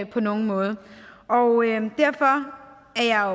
på nogen måde derfor er jeg